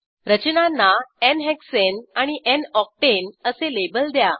रचनांना n hexane आणि n octane असे लेबल द्या